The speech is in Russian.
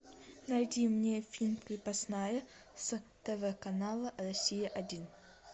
найди мне фильм крепостная с тв канала россия один